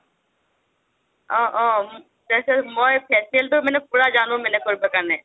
অহ অহ facial মই facial টো মানে পুৰা জানো মানে কৰিব কাৰণে